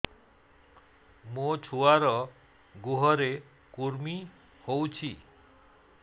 ମୋ ଛୁଆର୍ ଗୁହରେ କୁର୍ମି ହଉଚି